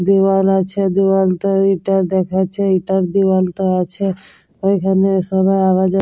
দেয়াল আছে দেয়ালটার এটা দেখাচ্ছে এটার দেয়ালটা আছে ওইখানে সবাই আওয়া যাওয়া--